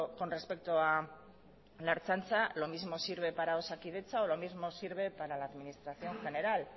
con respecto a la ertzaintza lo mismo vale para osakidetza o lo mismo sirve para la administración general